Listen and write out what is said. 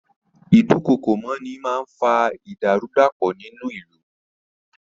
Ìdúkookòmọ́ni máa ń fa ìdàrúdàpọ̀ ní ìlú.